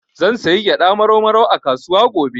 Zan sayi gyaɗa Marau Marau a kasuwa gobe.